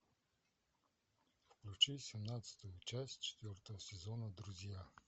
включи семнадцатую часть четвертого сезона друзья